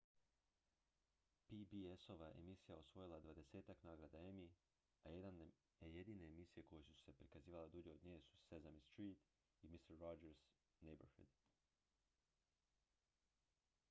pbs-ova emisija osvojila je dvadesetak nagrada emmy a jedine emisije koje su se prikazivale dulje od nje su sesame street i mister rogers' neighborhood